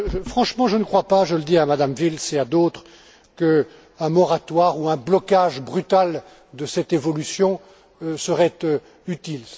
Franchement, je ne crois pas je le dis à Mme Wils et à d'autres qu'un moratoire ou un blocage brutal de cette évolution serait utile.